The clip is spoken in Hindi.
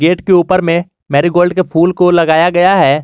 ईंट के ऊपर में मैरी गोल्ड के फूल को लगाया गया है।